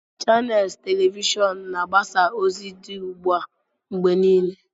Chanels telivishọn na-agbasa ozi dị ugbu a mgbe niile.